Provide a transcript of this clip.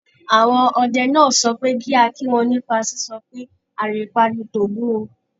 Àwọn ọdẹ náà sọ pé kí a kí wọn nípa sísọ pé "àrìnpa ni tògún o".